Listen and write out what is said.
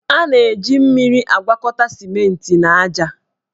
A na-eji mmiri agwakọta simenti na aja.